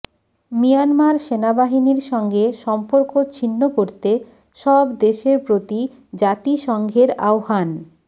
Myanmar সেনাবাহিনীর সঙ্গে সম্পর্ক ছিন্ন করতে সব দেশের প্রতি জাতিসংঘের আহ্বান